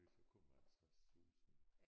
Så kommer han straks susende